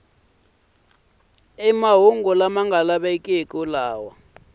mahungu lama nga lavekiki lama